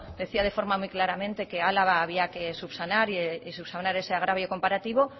decía de forma muy claramente que álava había que subsanar y subsanar ese agravio comparativo